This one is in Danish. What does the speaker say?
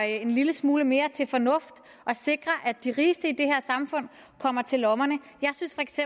en lille smule mere til fornuft og sikrer at de rigeste i det her samfund kommer til lommerne jeg synes feks